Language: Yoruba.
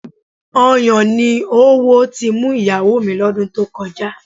Ọyàn ni oówo ti mú ìyàwó mi lọ́dún tó kọjá